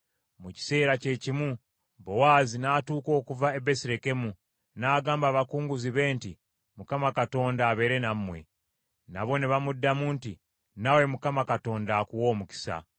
Mu kiseera kye kimu Bowaazi n’atuuka okuva e Besirekemu, n’agamba abakunguzi be nti, “ Mukama Katonda abeere nammwe.” Nabo ne bamuddamu nti, “Naawe Mukama Katonda akuwe omukisa.”